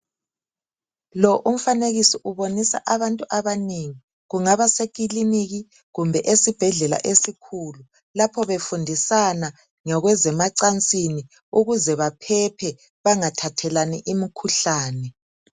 Lo umfanekiso ubonisa abantu abanengi. Kungaba sekiliniki kumbe esibhedlela esikhulu lapho befundisana ngokwezemacansini ukuze baphephe bangathathelani imikhuhlane.